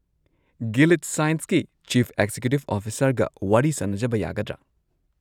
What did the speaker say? Gilead ꯁꯥꯏꯟꯁꯀꯤ chief ꯑꯦꯛꯖꯤꯀ꯭ꯌꯨꯇꯤꯕ ꯑꯣꯐꯤꯁꯔꯒ ꯋꯥꯔꯤ ꯁꯥꯅꯖꯕ ꯌꯥꯒꯗ꯭ꯔꯥ?